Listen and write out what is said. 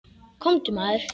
Komdu maður.